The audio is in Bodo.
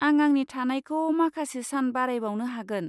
आं आंनि थानायखौ माखासे सान बारायबावनो हागोन।